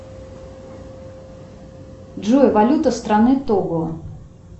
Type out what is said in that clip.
джой валюта страны того